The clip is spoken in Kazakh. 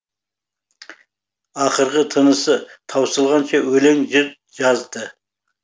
ақырғы тынысы таусылғанша өлең жыр жазды